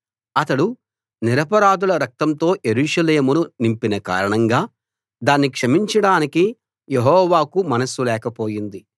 అతడు నిరపరాధుల రక్తంతో యెరూషలేమును నింపిన కారణంగా దాన్ని క్షమించడానికి యెహోవాకు మనస్సు లేకపోయింది